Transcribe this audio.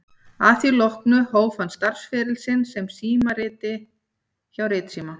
Að því loknu hóf hann starfsferil sinn sem símritari hjá Ritsíma